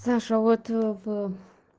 саша а вот ээ в